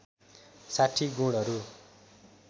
६० गुणहरू